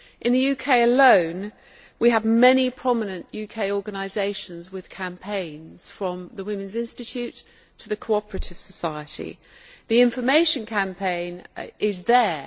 In the UK alone, we have many prominent UK organisations with campaigns from the Women's Institute to the Cooperative Society. The information campaign is there.